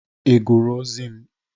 Ị gụrụ ozi m?